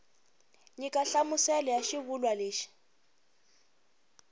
nyika nhlamuselo ya xivulwa lexi